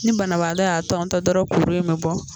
Ni banabaatɔ y'a tɔntɔn dɔrɔn kuru in bɛ bɔ.